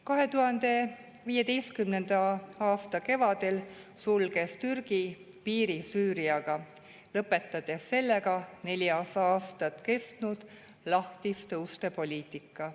2015. aasta kevadel sulges Türgi piiri Süüriaga, lõpetades sellega neli aastat kestnud lahtiste uste poliitika.